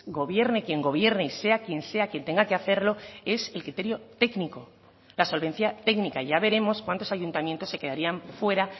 gobierne quien gobierne y sea quien sea quien tenga que hacerlo es el criterio técnico la solvencia técnica ya veremos cuántos ayuntamientos se quedarían fuera